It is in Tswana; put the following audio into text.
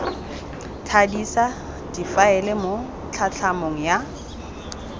thadisa difaele mo tlhatlhamanong ya